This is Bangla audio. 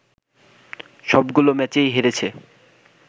সবগুলো ম্যাচেই হেরেছে